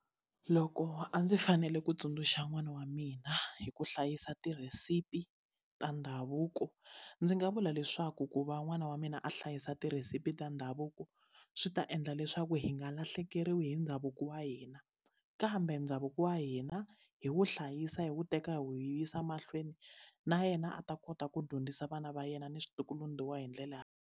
Loko a ndzi fanele ku tsundzuxa n'wana wa mina hi ku hlayisa tirhesipi ta ndhavuko ndzi nga vula leswaku ku va n'wana wa mina a hlayisa tirhesipi ta ndhavuko swi ta endla ndla leswaku hi nga lahlekeriwi hi ndhavuko wa hina kambe ndhavuko wa hina hi wo hlayisa hi wu teka hi wu yisa mahlweni na yena a ta kota ku dyondzisa vana va yena ni hi ndlela ya.